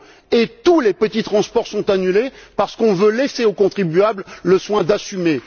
Et tous les petits transports sont annulés parce qu'on veut laisser au contribuable le soin d'assumer.